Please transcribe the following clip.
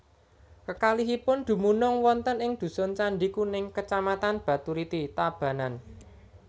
Kekalihipun dumunung wonten ing dusun Candi Kuning Kecamatan Baturiti Tabanan